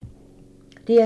DR2